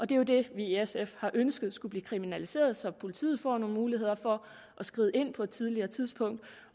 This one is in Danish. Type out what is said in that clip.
det er jo det vi i sf har ønsket skulle blive kriminaliseret så politiet får nogle muligheder for at skride ind på et tidligere tidspunkt